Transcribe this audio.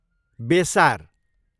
बेसार